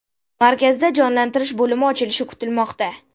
Markazda jonlantirish bo‘limi ochilishi kutilmoqda.